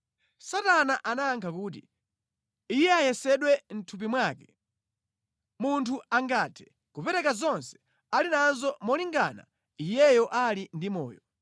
Satana anayankha kuti, “Iye ayesedwe mʼthupi mwake. Munthu angathe kupereka zonse ali nazo malingana iyeyo ali ndi moyo.